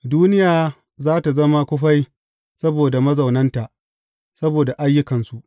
Duniya za tă zama kufai saboda mazaunanta, saboda ayyukansu.